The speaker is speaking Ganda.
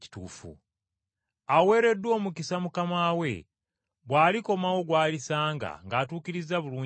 Alina omukisa mukama we bw’alikomawo gw’alisanga ng’atuukiriza bulungi emirimu gye.